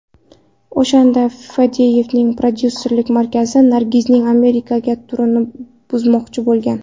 O‘shanda Fadeyevning prodyusserlik markazi Nargizning Amerikaga turini buzmoqchi bo‘lgan.